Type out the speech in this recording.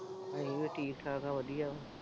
ਮੈਂ ਵੀ ਠੀਕ-ਠਾਕ ਆਂ ਵਧੀਆ।